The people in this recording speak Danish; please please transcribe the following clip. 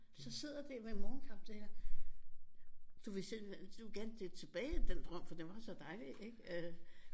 Så sidder det med morgenkaffen du vil gerne tilbage i den drøm for den var så dejlig ikke øh